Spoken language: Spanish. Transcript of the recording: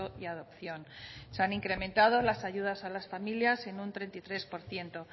y adopción se han incrementado las ayudas a las familias en un treinta y tres por ciento